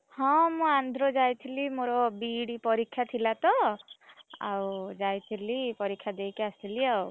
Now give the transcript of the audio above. ହଁ ମୁଁ ଆନ୍ଧ୍ର ଯାଇଥିଲି ମୋର B.Ed. ପରୀକ୍ଷା ଥିଲାତ, ଆଉ ଯାଇଥିଲି ପରୀକ୍ଷା ଦେଇକି ଆସିଲି ଆଉ।